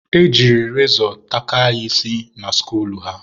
e jiri rezọ takaa ya isi na skuul ha.